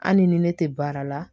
Hali ni ne tɛ baara la